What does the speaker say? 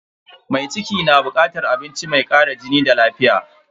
Mai ciki na bukatar abinci mai kara jini da lafiya.